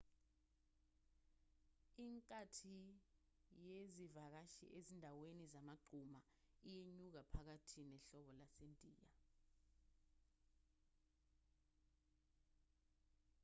inkathi yezivakashi ezindaweni zamagquma iyenyuka phakathi nehlobo lasendiya